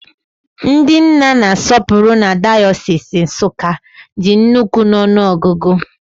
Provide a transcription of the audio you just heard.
Ndị nna na-asọpụrụ na dayọsis Nsukka dị ukwuu n'ọnụ ọgụgụ